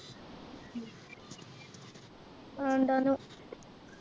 ആ ഇണ്ടാണു